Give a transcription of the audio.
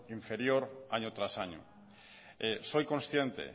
inferior año tras año soy consciente